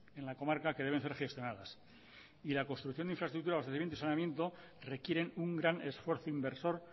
en la comarca que deben ser gestionadas y la construcción de infraestructuras de abastecimiento y saneamiento requieren un gran esfuerzo inversor